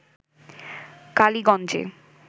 কালীগঞ্জে